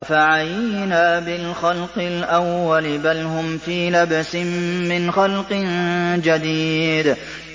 أَفَعَيِينَا بِالْخَلْقِ الْأَوَّلِ ۚ بَلْ هُمْ فِي لَبْسٍ مِّنْ خَلْقٍ جَدِيدٍ